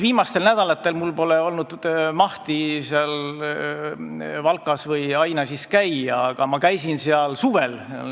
Viimastel nädalatel pole mul olnud mahti Valkas või Ainažis käia, aga ma käisin seal suvel.